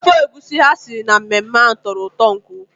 Ofe egusi ha siri na mmemme ahụ tọrọ ụtọ nke ukwuu.